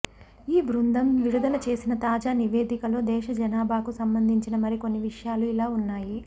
ఈ బృందం విడుదలచేసిన తాజా నివేదికలో దేశ జనాభాకు సంబంధించిన మరికొన్ని విషయాలు ఇలా ఉన్నాయి